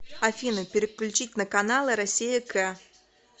афина переключить на каналы россия к